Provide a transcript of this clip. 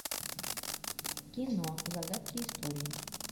кино загадки истории